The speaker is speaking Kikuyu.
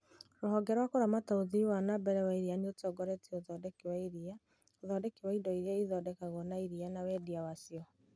Rũhonge rwa kũramata ũthii wa na mbere wa iria nĩũtongoretie ũthondeki wa iria, ũthondeki wa indo irĩa ithondekagwo na iria na wendia wacio.